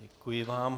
Děkuji vám.